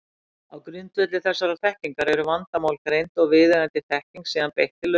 Á grundvelli þessarar þekkingar eru vandamál greind og viðeigandi þekkingu síðan beitt til lausnar.